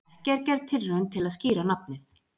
Ekki er gerð tilraun til að skýra nafnið.